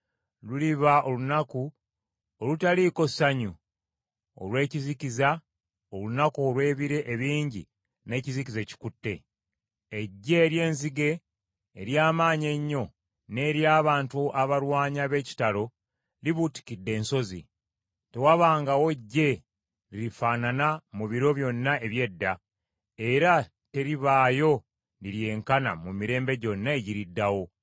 Luliba olunaku olutaliiko ssanyu, olw’ekizikiza; olunaku olw’ebire ebingi n’ekizikiza ekikutte. Eggye ery’enzige ery’amaanyi ennyo, ng’ery’abantu abalwanyi ab’ekitalo, libuutikidde ensozi. Tewabangawo ggye lirifaanana mu biro byonna eby’edda, era teribaayo liryenkana mu mirembe gyonna egiriddawo.